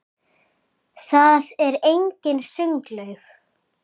þar er einnig sundlaug